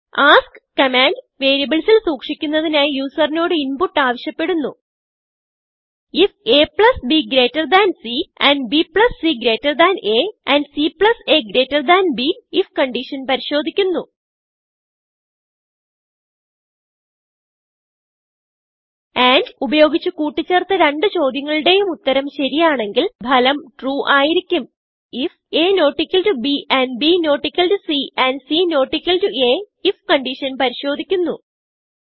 ask command വേരിയബിളിൽ സൂക്ഷിക്കുന്നതിനായി യൂസറിനോട് ഇൻപുട്ട് ആവിശ്യപ്പെടുന്നു ifabസിand bcഅ ആൻഡ് caബ്ifകൺഡിഷൻ പരിശോദിക്കുന്നു andഉപയോഗിച്ച് കൂട്ടി ചേർത്ത രണ്ട് ചോദ്യങ്ങളുടെയും ഉത്തരം ശരിയാണെങ്കിൽ ഭലം trueആയിരിക്കും ifaബ് and B C and C അifകൺഡിഷൻ പരിശോദിക്കുന്നു